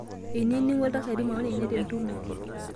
Einining'o iltasati maoni enye tentumo